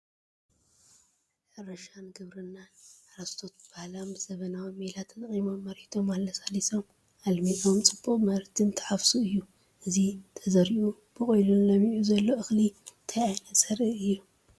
ሕርሻን ግብርናን፡- ሓረስቶት ብባህላውን ብዘበናውን ሜላ ተጠቒሞም መሬቶም ኣለሳሊሶምን ኣልሚዖምን ፅቡቕ ምህርቲ እንትሓፍሱ እዩ፡፡ እዚ ተዘሪኡ በቑሉን ለሚዑ ዘሎ እኽሊ እንታይ ዓይነት ዘርኢ እዩ ?